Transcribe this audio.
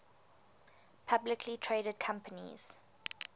publicly traded companies